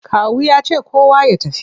Kawu ya ce kowa ya tafi!